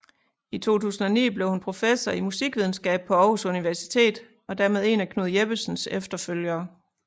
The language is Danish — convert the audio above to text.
I 2009 blev hun professor i Musikvidenskab på Aarhus Universitet og dermed én af Knud Jeppesens efterfølgere